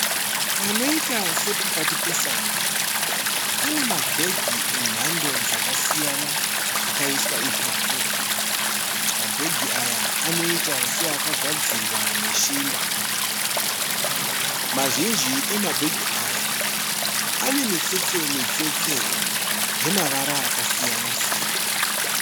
Panoita sepakati pesango pane mabhegi emhando dzakasiyana akaiswa ipapo. Mabhegi aya anoita seakagadzirwa neshinda. Mazhinji emabhegi aya ane mitsetse mitsetse yemavara akasiyana siyana.